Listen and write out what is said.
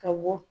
Ka bɔ